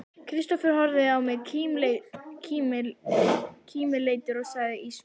Kristófer horfði á mig kímileitur og sagði ísmeygilega